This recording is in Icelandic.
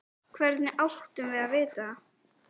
Hvernig áttum við að vita það?